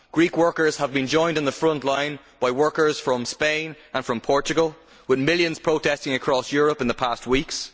Greek workers have been joined on the front line by workers from Spain and Portugal, with millions protesting across Europe in the past weeks.